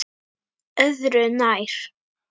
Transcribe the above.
Öðru nær.